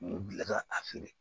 U bila ka a feere